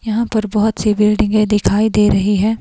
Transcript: यहां पर बहोत सी बिल्डिंगे दिखाई दे रही है।